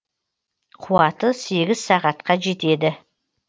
қуаты сегіз сағатқа жетеді